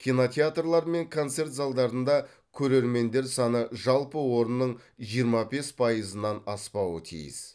кинотеатрлар мен концерт залдарында көрермендер саны жалпы орынның жиырма бес пайызынан аспауы тиіс